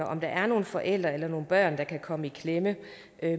om der er nogen forældre eller nogen børn der kan komme i klemme